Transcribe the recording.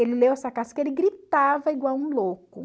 Ele leu essa carta diz que ele gritava igual um louco.